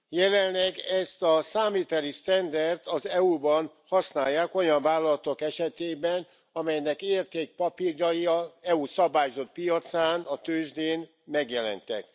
Jelenleg ezt a számviteli sztenderdet az EU ban használják olyan vállalatok esetében, amelynek értékpapírjai az EU szabályozott piacán, a tőzsdén megjelentek.